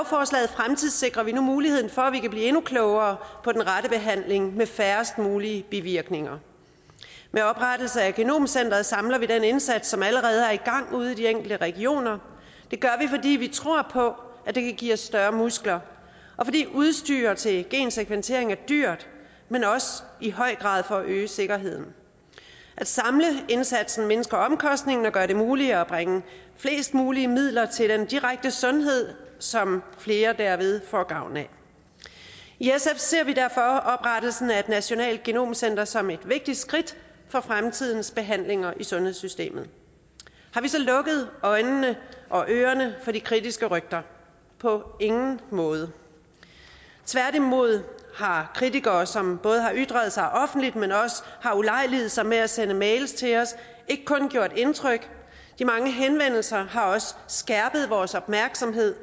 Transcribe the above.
fremtidssikrer vi nu muligheden for at vi kan blive endnu klogere på den rette behandling med færrest mulige bivirkninger med oprettelsen af genomcenteret samler vi den indsats som allerede er i gang ude i de enkelte regioner det gør vi fordi vi tror på at det kan give os større muskler og fordi udstyr til gensekventering er dyrt men også i høj grad for at øge sikkerheden at samle indsatsen mindsker omkostningerne og gør det muligt at bringe flest mulige midler til den direkte sundhed som flere derved får gavn af i sf ser vi derfor oprettelsen af et nationalt genomcenter som et vigtigt skridt for fremtidens behandlinger i sundhedssystemet har vi så lukket øjnene og ørerne for de kritiske røster på ingen måde tværtimod har kritikere som både har ytret sig offentligt men også ulejliget sig med at sende mails til os ikke kun gjort indtryk de mange henvendelser har også skærpet vores opmærksomhed